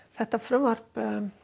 þetta frumvarp